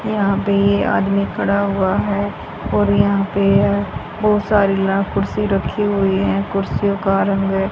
यहां पे ये आदमी खड़ा हुआ है और यहां पे बहुत सारी ला कुर्सी रखी हुई है कुर्सियों का रंग--